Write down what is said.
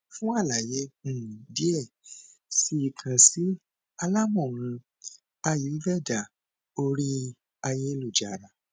fun alaye um diẹ sii kan si alamọran ayurveda ori ayelujara